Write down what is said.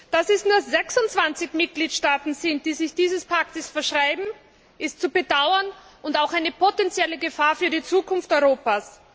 Dass es nur 26 Mitgliedstaaten sind, die sich diesem Pakt verschreiben, ist zu bedauern und auch eine potenzielle Gefahr für die Zukunft Europas.